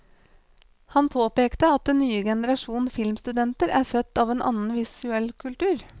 Han påpekte at den nye generasjon filmstudenter er født av en annen visuell kultur.